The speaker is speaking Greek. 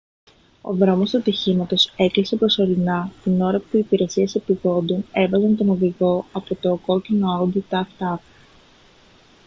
ο δρόμος του ατυχήματος έκλεισε προσωρινά την ώρα που οι υπηρεσίες επειγόντων έβγαζαν τον οδηγό από το κόκκινο audi tt